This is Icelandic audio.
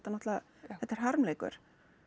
náttúrulega þetta er harmleikur